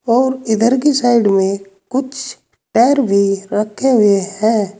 और इधर की साइड में कुछ टायर भी रखे हुए हैं।